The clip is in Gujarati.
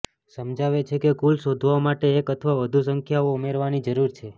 સમજાવે છે કે કુલ શોધવા માટે એક અથવા વધુ સંખ્યાઓ ઉમેરવાની જરૂર છે